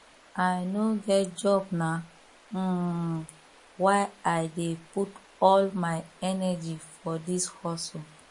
i no get job na um why i dey put all my energy for dis hustle